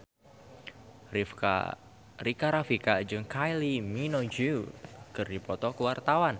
Rika Rafika jeung Kylie Minogue keur dipoto ku wartawan